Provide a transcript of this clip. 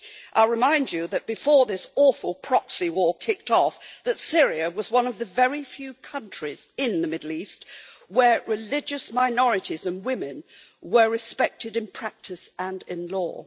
I remind you that before this awful proxy war kicked off, Syria was one of the very few countries in the Middle East where religious minorities and women were respected in practice and in law.